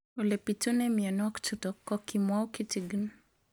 Ole pitune mionwek chutok ko kimwau kitig'�n